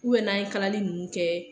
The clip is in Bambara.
n'a ye kalali ninnu kɛ.